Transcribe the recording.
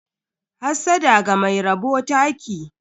Hassada ga mai rabo taki.